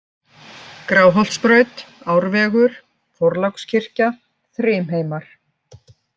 Gráholtsbraut, Árvegur, Þorlákskirkja, Þrymheimar